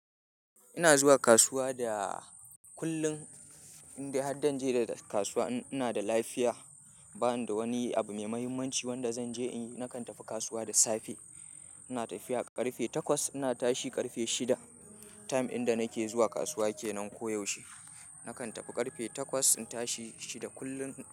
Ina zuwa kasuwa da kullum. Indai har danje dag kasuwa in ina da lafiya, ba ni da wani abu mai muhimmanci wanda zan je in yi, nakan tafi kasuwa da safe. Ina tafiya ƙarfe takwas, ina tashi ƙarfe shida. Time in da nake zuwa kasuwa ke nan koyaushe. Nakan tafi ƙarfe takwas, in tashi shida kullum.